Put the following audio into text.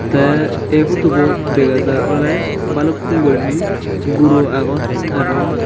te ey podubot degajar oley balukkun guriney guro agon aro.